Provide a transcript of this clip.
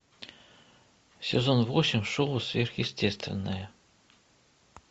сезон восемь шоу сверхъестественное